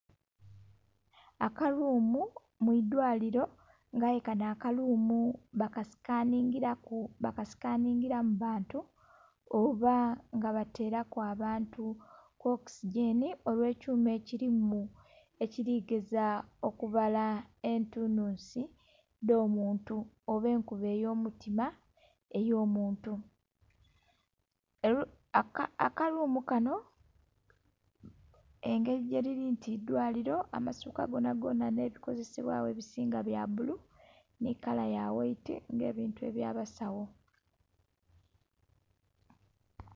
Akalumu mwidwaliro aye nga kano akalumu baka sikaningila mu bantu oba nga batelaku abantu okisi genhi oba kuma ekilimu ekiligeza okubala etunhunsi edhomuntu oba enkuba eyo mutima eyo muntu. Akalumu kanho engeli bwelili nti idhwaliro amasuka ghonha nhe bikozesebwa gho ebisinga byabulu nhi kala ya ghaiti nga ebintu ebya basagho.